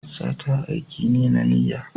Sata aiki ne na niyya.